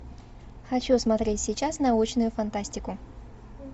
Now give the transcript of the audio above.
хочу смотреть сейчас научную фантастику